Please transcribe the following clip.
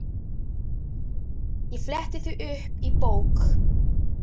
Ég fletti því upp í bók.